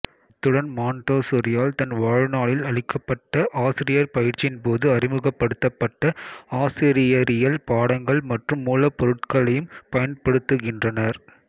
அத்துடன் மான்டோசொரியால் தன் வாழ்நாளில் அளிக்கப்பட்ட ஆசிரியர் பயிற்சியின்போது அறிமுகப்படுத்தப்பட்ட ஆசிரியரியல் பாடங்கள் மற்றும் மூலப்பொருட்களையும் பயன்படுத்துகின்றனர்